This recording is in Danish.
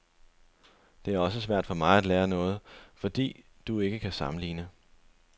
Det er også svært for mig at lære noget, fordi du ikke kan sammenligne.